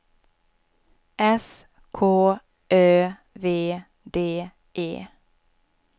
S K Ö V D E